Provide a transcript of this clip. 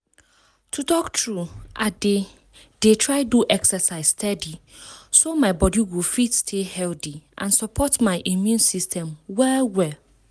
to talk true i dey dey try do exercise steady so my body go fit stay healthy and support my immune system well well